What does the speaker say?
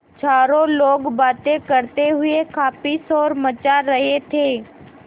चारों लोग बातें करते हुए काफ़ी शोर मचा रहे थे